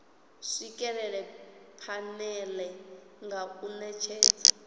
swikelela phanele nga u netshedza